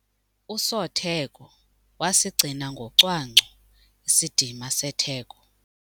Usotheko wasigcina ngocwangco isidima setheko.